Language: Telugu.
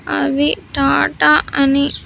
అవి టాటా.